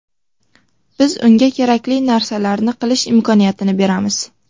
Biz unga kerakli narsalarni qilish imkoniyatini beramiz.